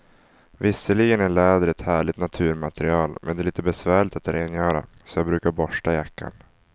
Visserligen är läder ett härligt naturmaterial, men det är lite besvärligt att rengöra, så jag brukar borsta jackan.